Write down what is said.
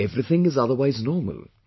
Everything is otherwise normal